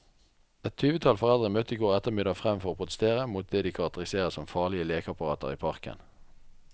Et tyvetall foreldre møtte i går ettermiddag frem for å protestere mot det de karakteriserer som farlige lekeapparater i parken.